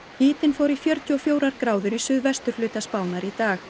hitinn fór í fjörutíu og fjórar gráður á suðvesturhluta Spánar í dag